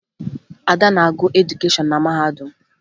Ada na-agụ edukeshọn na mahadum